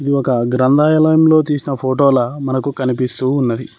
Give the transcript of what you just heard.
ఇది ఒక గ్రంథాలయంలో తీసిన ఫోటోల మనకు కనిపిస్తూ ఉన్నది.